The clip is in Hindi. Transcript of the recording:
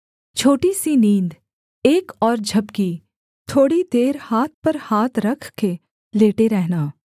छोटी सी नींद एक और झपकी थोड़ी देर हाथ पर हाथ रख के लेटे रहना